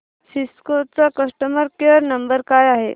Cisco चा customer care number काय आहे